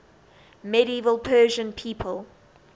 medieval persian people